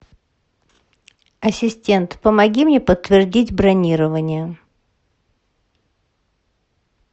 ассистент помоги мне подтвердить бронирование